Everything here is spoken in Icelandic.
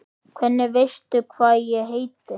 Hvernig veistu hvað ég heiti?